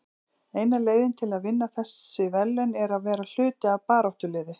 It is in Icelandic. Eina leiðin til að vinna þessi verðlaun er að vera hluti af baráttuliði.